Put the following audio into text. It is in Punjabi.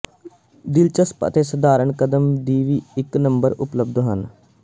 ਦਿਲਚਸਪ ਅਤੇ ਸਧਾਰਨ ਕਦਮ ਦੀ ਇੱਕ ਨੰਬਰ ਉਪਲਬਧ ਹਨ